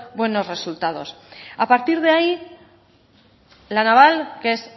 buenos resultados a partir de ahí la naval que es